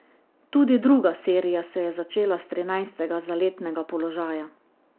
Tudi druga serija se je začela s trinajstega zaletnega položaja.